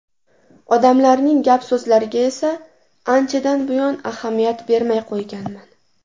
Odamlarning gap-so‘zlariga esa anchadan buyon ahamiyat bermay qo‘yganman”.